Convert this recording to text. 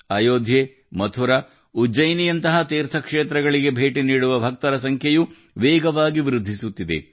ಅಯೋಧ್ಯೆ ಮಥುರಾ ಉಜ್ಜಯಿನಿಯಂತಹ ತೀರ್ಥಕ್ಷೇತ್ರಗಳಿಗೆ ಭೇಟಿ ನೀಡುವ ಭಕ್ತರ ಸಂಖ್ಯೆಯೂ ವೇಗವಾಗಿ ವೃದ್ಧಿಸುತ್ತಿದೆ